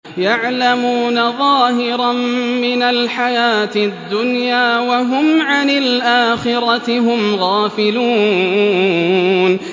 يَعْلَمُونَ ظَاهِرًا مِّنَ الْحَيَاةِ الدُّنْيَا وَهُمْ عَنِ الْآخِرَةِ هُمْ غَافِلُونَ